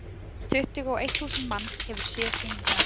Tuttugu og eitt þúsund manns hefur séð sýninguna.